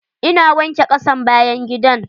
Ina wanke kasan bayan gidan.